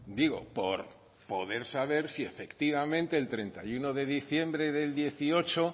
digo por poder saber si efectivamente el treinta y uno de diciembre del dieciocho